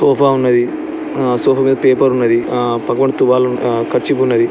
Sofa ఉన్నది. ఆ sofa మీద పేపర్ ఉన్నది. ఆ పక్కన తువాల్ ఆ కర్చీఫ్ ఉన్నది.